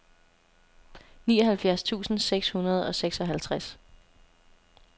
nioghalvfjerds tusind seks hundrede og seksoghalvtreds